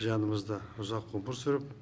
жанымызда ұзақ ғұмыр сүріп